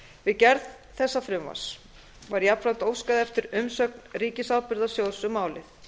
við gerð þessa frumvarps var jafnframt óskað eftir umsögn ríkisábyrgðasjóðs um málið